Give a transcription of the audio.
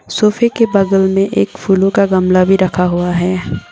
सोफे के बगल में एक फूलों का गमला भी रखा हुआ है।